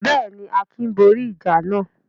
Bẹ́ẹ̀ ni, Akin borí ìjà náà.